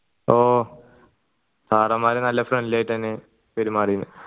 ഓ sir മാര് നല്ല friendly ആയിട്ട് എന്യ പെരുമാറിയത്